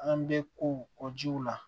An bɛ kow kɔ jiw la